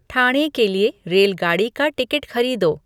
ठाणे के लिए रेलगाड़ी का टिकट खरीदो